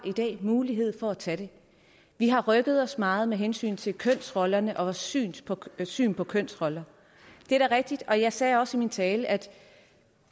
mulighed for at tage det vi har rykket os meget med hensyn til kønsrollerne og synet på synet på kønsrollerne det er da rigtigt jeg sagde også i min tale at